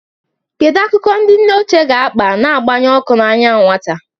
Kedu akụkọ ndị nne ochie ga-akpa, na-agbanye ọkụ n'anya nwata?